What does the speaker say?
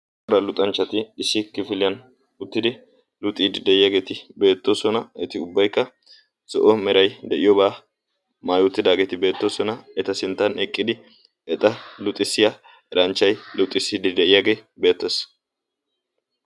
aaa luxanchchati issi kifiliyan uttidi luxiidi de7iyaageeti beettoosona. eti ubbaikka so7o merai de7iyoobaa maayootidaageeti beettoosona eta sinttan eqqidi eta luxisiyaa ranchchai luxisiidi de7iyaagee beettes.